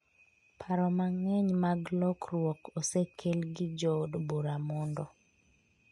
Paro mang’eny mag lokruok osekel gi jood bura mondo